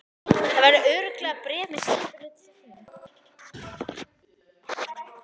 Það verður örugglega bréf með skipinu til þín.